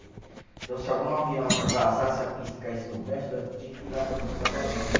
Então, se algum avião a pista, caísse no brejo, nós tínhamos que ir lá fazer o salvamento.